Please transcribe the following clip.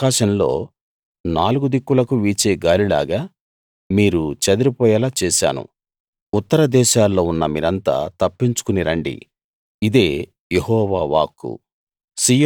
ఆకాశంలో నాలుగు దిక్కులకు వీచే గాలిలాగా మీరు చెదిరిపోయేలా చేశాను ఉత్తర దేశాల్లో ఉన్న మీరంతా తప్పించుకుని రండి ఇదే యెహోవా వాక్కు